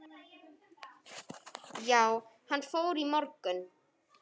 Já, hann fór í morgun